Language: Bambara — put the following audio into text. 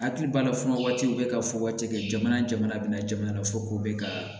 Hakili b'a la fuwa waati u bɛ ka fɔ waati kɛ jamana jamana bɛ na jamana fɔ k'u bɛ ka